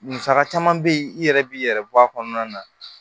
Musaka caman bɛ yen i yɛrɛ b'i yɛrɛ bɔ a kɔnɔna na